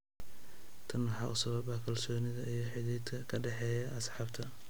Tan waxa u sabab ah kalsoonida iyo xidhiidhka ka dhexeeya asxaabta.